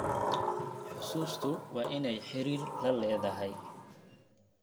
Xusuustu waa inay xidhiidh la leedahay.